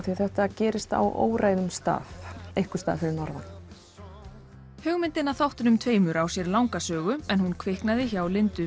því þetta gerist á óræðum stað einhvers staðar fyrir norðan hugmyndin að þáttunum tveimur á sér þó langa sögu en hún kviknaði hjá Lindu